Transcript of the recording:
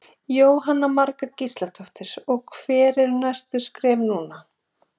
Jóhanna Margrét Gísladóttir: Og hver eru næstu skref núna?